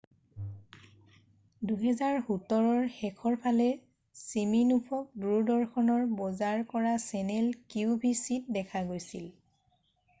2017 ৰ শেষৰ ফালে চিমিনোফক দূৰদৰ্শনৰ বজাৰ কৰা চেনেল কিউ ভি চিত দেখা গৈছিল